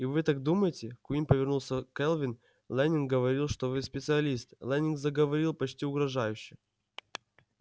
и вы так думаете куинн повернулся к кэлвин лэннинг говорил что вы специалист лэннинг заговорил почти угрожающе